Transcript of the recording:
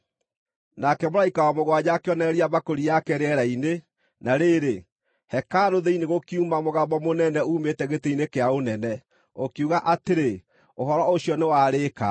Nake mũraika wa mũgwanja akĩonoreria mbakũri yake rĩera-inĩ, na rĩrĩ, hekarũ thĩinĩ gũkiuma mũgambo mũnene uumĩte gĩtĩ-inĩ kĩa ũnene, ũkiuga atĩrĩ, “Ũhoro ũcio nĩwarĩĩka!”